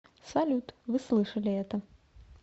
салют вы слышали это